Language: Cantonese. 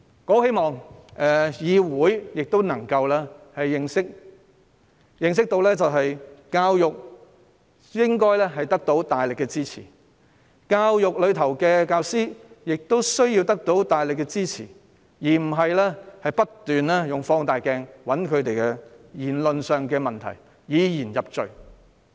我希望議會能夠認清一點，就是教育應該得到大力支持，教育界及教師亦需要得到大力支持，而非不斷用放大鏡尋找他們在言論上的問題，以言入罪。